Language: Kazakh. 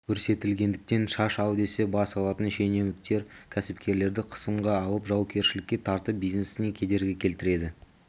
көрсетілгендіктен шаш ал десе бас алатын шенеуіктер кәсіпкерлерді қысымға алып жауапкершілікке тартып бизнесіне кедергі келтіреді